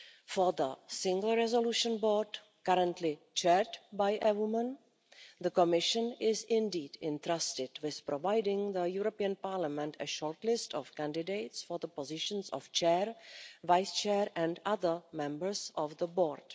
For the Single Resolution Board, currently chaired by a woman, the Commission is indeed entrusted with providing the European Parliament with a shortlist of candidates for the positions of chair, vice chair and other members of the board.